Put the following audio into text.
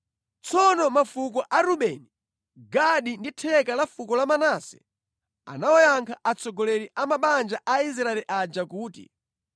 Tsono mafuko a Rubeni, Gadi ndi theka la fuko la Manase anawayankha atsogoleri a mabanja a Israeli aja kuti,